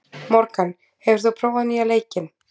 Morgan, hefur þú prófað nýja leikinn?